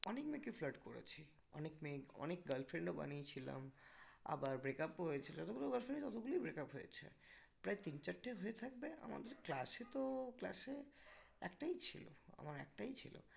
অনেক মেয়েকে flirt করেছি অনেক মেয়ে অনেক girlfriend ও বানিয়ে ছিলাম আবার break up ও হয়েছিল ততগুলোই breakup হয়েছে প্রায় তিন চারটে হয়ে থাকবে আমাদের class এ তো class এ একটাই ছিল আমার একটাই ছিল